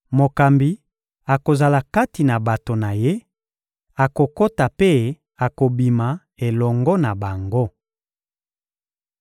Mokambi akozala kati na bato na ye, akokota mpe akobima elongo na bango.